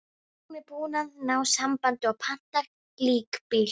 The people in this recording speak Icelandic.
Læknirinn er búinn að ná sambandi og pantar líkbíl.